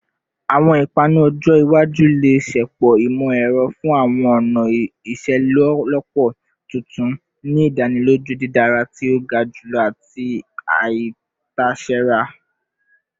Awọn ipanu ọjọ iwaju le ṣepọ imọ-ẹrọ fun awọn ọna iṣelọpọ tuntun, ni idaniloju didara ti o ga julọ ati aitasera